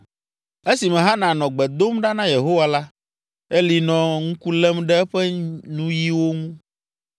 Esime Hana nɔ gbe dom ɖa na Yehowa la, Eli nɔ ŋku lém ɖe eƒe nuyiwo ŋu.